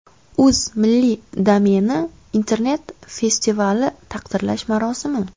Uz Milliy domeni internet-festivali taqdirlash marosimi.